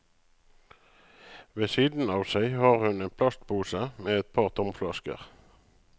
Ved siden av seg har hun en plastpose med et par tomflasker.